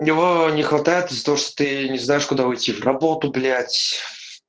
у него не хватает из-за того что ты не знаешь куда уйти в работу блять